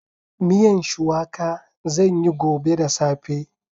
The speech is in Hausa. Miyan shuwaka zan yi gobe da safe.